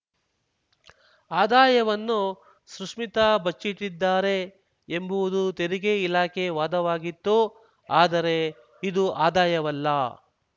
ಆದಾಯವನ್ನು ಸುಶ್ಮಿತಾ ಬಚ್ಚಿಟ್ಟಿದ್ದಾರೆ ಎಂಬುವುದು ತೆರಿಗೆ ಇಲಾಖೆ ವಾದವಾಗಿತ್ತು ಆದರೆ ಇದು ಆದಾಯವಲ್ಲ